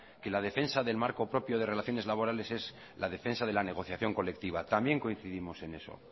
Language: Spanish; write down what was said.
que la defensa del marco propio de relaciones laborales es la defensa de la negociación colectiva también coincidimos en eso